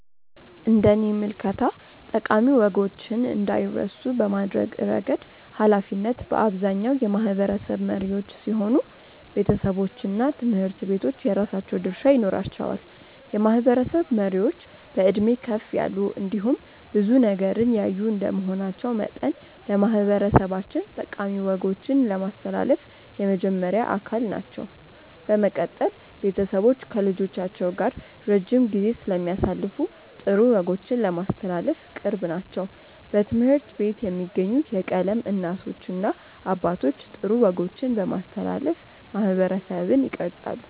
እንደኔ ምልከታ ጠቃሚ ወጎችን እንዳይረሱ በማድረግ እረገድ ሀላፊነት በአብዛኛው የማህበረሰብ መሪዎች ሲሆኑ ቤተሰቦችና ትምህርት ቤቶች የራሳቸው ድርሻ ይኖራቸዋል። የማህበረሰብ መሪዎች በዕድሜ ከፍ ያሉ እንዲሁም ብዙ ነገርን ያዩ እንደመሆናቸው መጠን ለማህበረሰባችን ጠቃሚ ወጎችን ለማስተላለፍ የመጀመሪያ አካል ናቸው። በመቀጠል ቤተሰቦች ከልጆቻቸው ጋር ረጅም ጊዜ ስለሚያሳልፉ ጥሩ ወጎችን ለማስተላለፍ ቅርብ ናቸው። በትምህርት ቤት የሚገኙ የቀለም እናቶችና አባቶች ጥሩ ወጎችን በማስተላለፍ ማህበረሰብን ይቀርፃሉ።